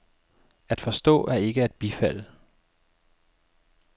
At forstå er ikke at bifalde.